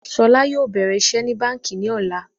Ṣọlá yóò bẹ̀rẹ̀ iṣẹ́ ní báńkì ní ọ̀la